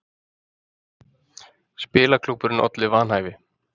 Spilaklúbburinn olli vanhæfi